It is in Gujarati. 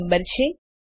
આ નંબર છે